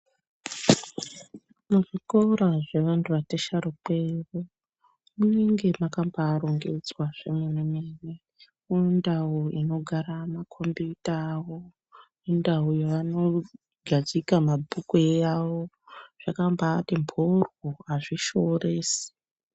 Muzvikora zvevanhu vati sharukei munenge mwakabaarongedzwa zvemenemene nendau inogara makombuta awo nendau yaanogadzika mabhuku yawo zvakabati mhoryo azvishoresi.